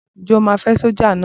Ǹjẹ́ o máa fẹ́ sọ́jà náà?